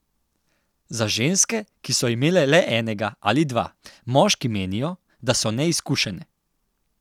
Za ženske, ki so imele le enega ali dva, moški menijo, da so neizkušene.